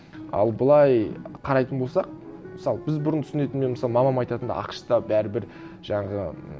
ал былай қарайтын болсақ мысалы біз бұрын түсінетін мен мысалы мамам айтатын ақш та бәрібір жаңағы